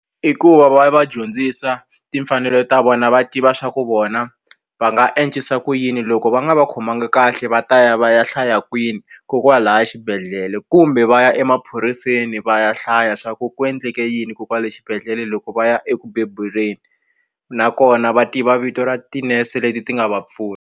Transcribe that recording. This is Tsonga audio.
I ku va va va dyondzisa timfanelo ta vona va tiva swa ku vona va nga endlisa ku yini loko va nga va khomangi kahle va ta ya va ya hlaya kwini kokwalaya xibedhlele kumbe va ya emaphoriseni va ya hlaya swa ku ku endleke yini kokwale xibedhlele loko va ya eku bebuleni nakona va tiva vito ra tinese leti ti nga va pfuna.